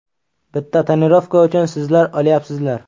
Bitta tonirovka uchun sizlar olyapsizlar.